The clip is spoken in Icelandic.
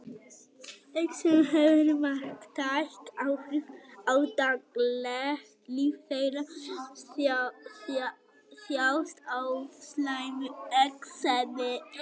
Exem hefur marktæk áhrif á daglegt líf þeirra sem þjást af slæmu exemi.